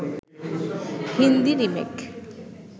Hindi remake